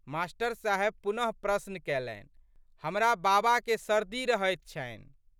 मा.साहेब पुनः प्रश्न कैलनि। "हमरा बाबाके सर्दी रहैत छन्हि।